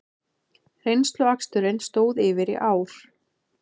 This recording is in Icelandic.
Reynsluaksturinn stóð yfir í ár